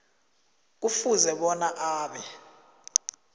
kufuze bona abe